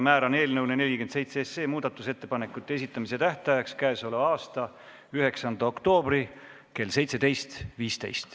Määran eelnõu 47 kohta muudatusettepanekute esitamise tähtajaks k.a 9. oktoobri kell 17.15.